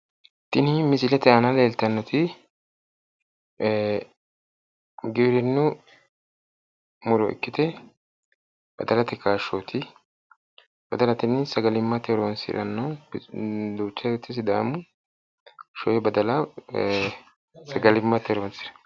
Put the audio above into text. Tinis misilete aana leeltannoti gwirinnu muro ikkite badalate kaashshooti, badala tini sagalimmate horonsi'ranno duucha woyte sidaamu sho'e badala sagalimmate horonsi'ranno.